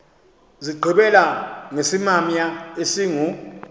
zigqibela ngesimamya esingu